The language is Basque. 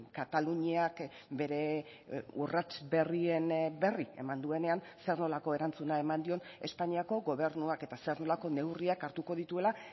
kataluniak bere urrats berrien berri eman duenean zer nolako erantzuna eman dion espainiako gobernuak eta zer nolako neurriak hartuko dituela